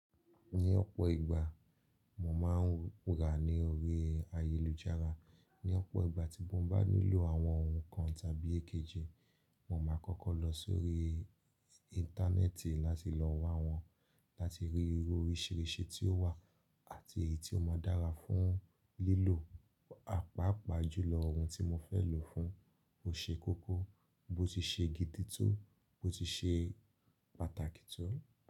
Ní ọ̀pọ̀ ìgbà mo máa ń rà ní orí ayélujára. Ní ọ̀pọ̀ ìgbà tí mo bá nílò àwọn ohun kan tàbí èkejì, mo máa kọ́kọ́ lọ sórí Íńtánẹ́ẹ̀tì láti lọ wá wọn, láti rí irú oríṣìíríṣìí tí ó wà àti èyí tí ó máa dára fún lílò, àpáàpàá jùlọ ohun tí mo fẹ́ lò fún ó ṣe kókó, bó ti ṣe gidi tó, bó ti ṣe pàtàkì tó.